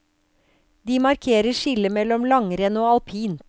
De markerer skillet mellom langrenn og alpint.